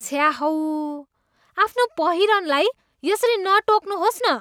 छ्या हौ, आफ्नो पहिरनलाई यसरी नटोक्नुहोस् न।